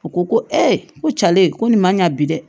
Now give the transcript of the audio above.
U ko ko ko cale ko nin man ɲa bi dɛ